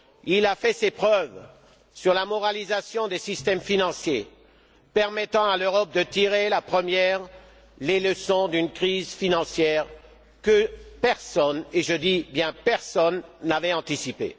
Il a fait ses preuves sur la moralisation des systèmes financiers, permettant à l'Europe de tirer, la première, les leçons d'une crise financière que personne, et je dis bien personne, n'avait anticipée.